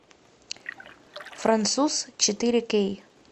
француз четыре кей